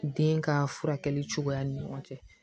Den ka furakɛli cogoya ni ɲɔgɔn cɛ